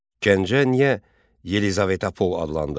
Gəncə niyə Yelizaveta Pol adlandı?